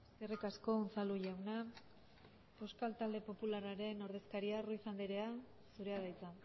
eskerrik asko unzalu jauna euskal talde popularraren ordezkaria ruiz andrea zurea da hitza